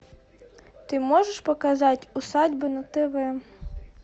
ты можешь показать усадьба на тв